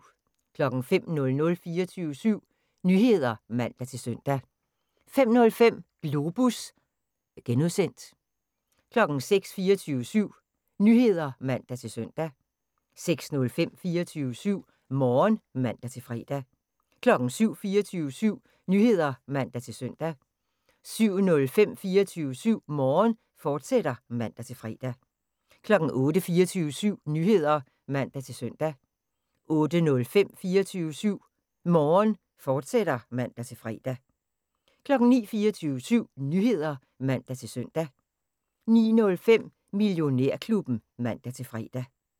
05:00: 24syv Nyheder (man-søn) 05:05: Globus (G) 06:00: 24syv Nyheder (man-søn) 06:05: 24syv Morgen (man-fre) 07:00: 24syv Nyheder (man-søn) 07:05: 24syv Morgen, fortsat (man-fre) 08:00: 24syv Nyheder (man-søn) 08:05: 24syv Morgen, fortsat (man-fre) 09:00: 24syv Nyheder (man-søn) 09:05: Millionærklubben (man-fre)